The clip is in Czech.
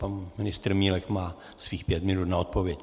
Pan ministr Milek má svých pět minut na odpověď.